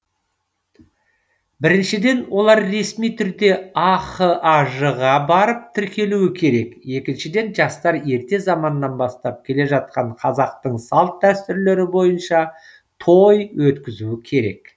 біріншіден олар ресми түрде ахаж ға барып тіркелуі керек екіншіден жастар ерте заманнан бастап келе жатқан қазақтың салт дәстүрлері бойынша той өткізуі керек